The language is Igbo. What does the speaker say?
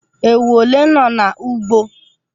Ewu ole nọ n'ugbo?